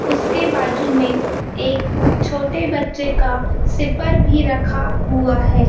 उसके बाजू में एक छोटे बच्चे का सिपर भी रखा हुआ हैं।